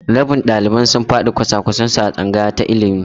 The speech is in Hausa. Rabin ɗaliban sun faɗi kwasa-kwasan su a tsangaya ta ilimi.